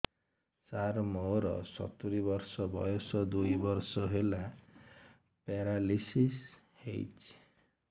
ସାର ମୋର ସତୂରୀ ବର୍ଷ ବୟସ ଦୁଇ ବର୍ଷ ହେଲା ପେରାଲିଶିଶ ହେଇଚି